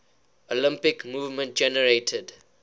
olympic movement generated